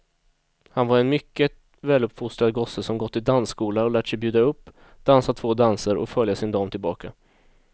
Han var en mycket väluppfostrad gosse som gått i dansskola och lärt sig bjuda upp, dansa två danser och följa sin dam tillbaka.